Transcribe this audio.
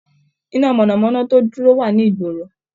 Iná mọ̀nà-mọ́ná tó dúró wà ní ìgboro